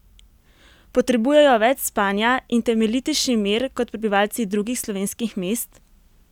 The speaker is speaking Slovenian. Potrebujejo več spanja in temeljitejši mir kot prebivalci drugih slovenskih mest?